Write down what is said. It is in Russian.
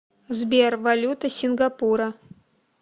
сбер валюта сингапура